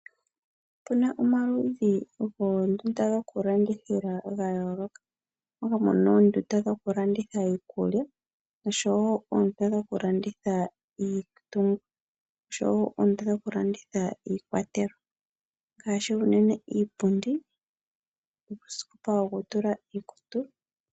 Otu na omaludhi goondunda dhokulandithila dha yooloka moka pu na oondunda dhokulandithila iikulya, oondunda dhokulandithila iitungithi nosho oondunda dhokulanditha iikwatelwa ngaashi unene iipundi nuusikopa wokutula iikutu.